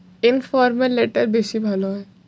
formal letter বেশি ভালো হয়।